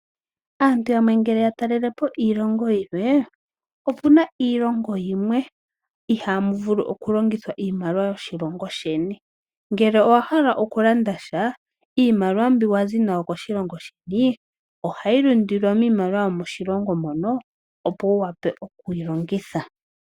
Aantu ngele ya talelepo iilongo yimwe. Opu na iilongo yimwe ihamu vulu okulongithwa iimaliwa yoshilongo sheni . Ngele owa hala okulandasha iimaliwa mbi wazi nayo koshilongo dheni ohayi lundululilwa niimaliwa yomoshilongo mono opo wu wape oku yi longitha.